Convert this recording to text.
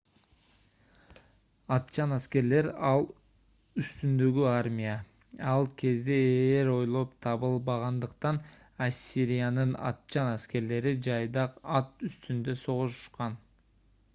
атчан аскерлер ат үстүндөгү армия ал кезде ээр ойлоп табылбагандыктан ассириянын атчан аскерлери жайдак ат үстүндө согушушкан